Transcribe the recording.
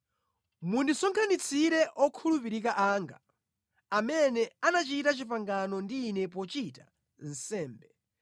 Mundisonkhanitsire okhulupirika anga, amene anachita pangano ndi ine pochita nsembe.